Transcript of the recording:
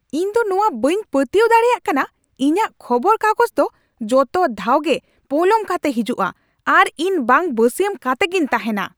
ᱤᱧᱫᱚ ᱱᱚᱶᱟ ᱵᱟᱹᱧ ᱯᱟᱹᱛᱭᱟᱹᱣ ᱫᱟᱲᱮᱭᱟᱜ ᱠᱟᱱᱟ ! ᱤᱧᱟᱹᱜ ᱠᱷᱚᱵᱚᱨ ᱠᱟᱜᱚᱡᱽᱫᱚ ᱡᱚᱛᱚ ᱫᱷᱟᱣᱜᱮ ᱯᱚᱞᱚᱢ ᱠᱟᱛᱮ ᱦᱤᱡᱩᱜᱼᱟ, ᱟᱨ ᱤᱧ ᱵᱟᱝ ᱵᱟᱹᱥᱭᱟᱹᱢ ᱠᱟᱛᱮᱜᱤᱧ ᱛᱟᱦᱮᱱᱟ ᱾